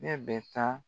Ne bɛ taa